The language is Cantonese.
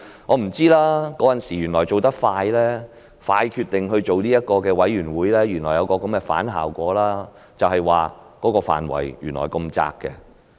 我也不知道當時迅速決定成立調查委員會原來會有這樣的反效果，就是範圍原來過於狹窄。